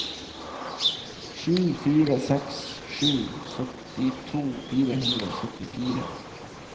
sju fire seks sju syttito fire hundre og syttifire